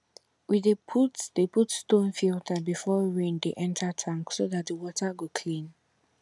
we dey put dey put stone filter before rain dey enter tank so dat the water go clean